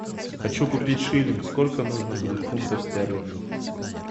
хочу купить шиллинг сколько нужно будет фунтов стерлингов